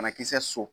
Banakisɛ so